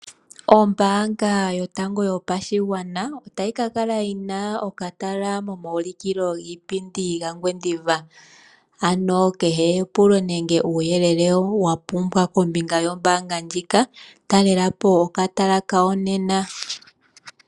Ombaanga yotango yopashigwana otayi ka kala yina okatala momaulukilo giipindi mongwendiva. Ano kehe epulo nenge nuuyelele wa pumbwa kombinga yombaanga ndjika talelapo okatala kawo nena.